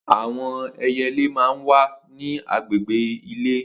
Awọn ẹyẹlé mà n wà ni àgbégbé ilé